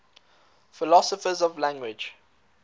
philosophers of language